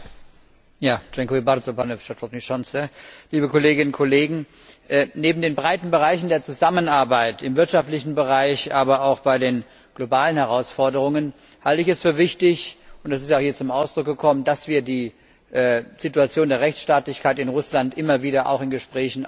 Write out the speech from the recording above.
Herr Präsident, liebe Kolleginnen und Kollegen! Neben den breiten Bereichen der Zusammenarbeit auf wirtschaftlichem Gebiet, aber auch bei den globalen Herausforderungen halte ich es für wichtig und das ist auch hier zum Ausdruck gekommen dass wir die Situation der Rechtsstaatlichkeit in Russland immer wieder auch in Gesprächen auf der Tagesordnung halten.